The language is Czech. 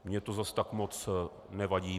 Mně to zase tak moc nevadí.